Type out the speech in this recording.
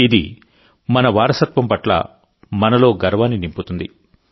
ఇది మన వారసత్వం పట్ల మనలో గర్వాన్ని నింపుతుంది